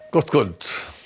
gott kvöld